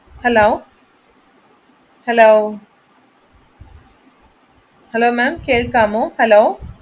Hello hello ma'am കേൾക്കാമോ?